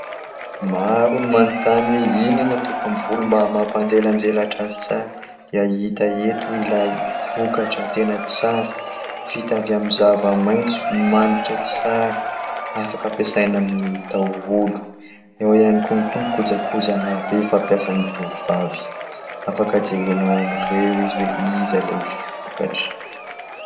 Maro ny manontany hoe inona no hataoko amin'ny volo mba hampanjelanjelatra azy tsara ? Dia hita eto ilay vokatra tena tsara, vita avy amin'ny zava-maitso, manitra tsara, afaka ampiasaina amin'ny taovolo, ao ihany koa ihany koa ny kojakoja maro be fampiasany tovovavy. Afaka jerenao amin'ireo izy hoe iza ilay vokatra ?